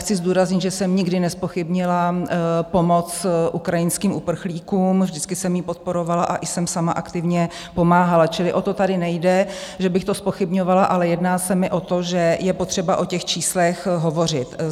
Chci zdůraznit, že jsem nikdy nezpochybnila pomoc ukrajinským uprchlíkům, vždycky jsem ji podporovala a i jsem sama aktivně pomáhala, čili o to tady nejde, že bych to zpochybňovala, ale jedná se mi o to, že je potřeba o těch číslech hovořit.